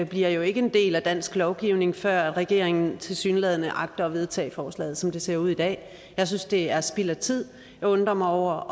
bliver jo ikke en del af dansk lovgivning før regeringen tilsyneladende agter at vedtage forslaget som det ser ud i dag jeg synes det er spild af tid jeg undrer mig over